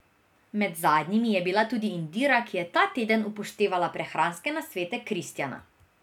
Med zadnjimi je bila tudi Indira, ki je ta teden upoštevala prehranske nasvete Kristjana.